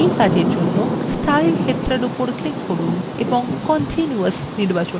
এই কাজের জন্য স্টাইল ক্ষেত্রের উপর click করুন এবং continuous নির্বাচন করুন